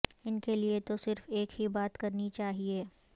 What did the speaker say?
ان کے لئے تو صرف ایک ہی بات کرنی چاہئے